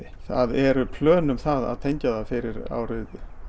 það eru plön að tengja það fyrir árið